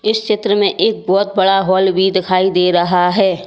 इस चित्र में एक बहुत बड़ा हॉल भी दिखाई दे रहा है।